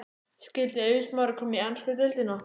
Skyldi Eiður Smári koma í ensku deildina?